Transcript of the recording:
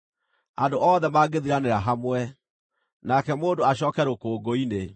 andũ othe mangĩthiranĩra hamwe, nake mũndũ acooke rũkũngũ-inĩ.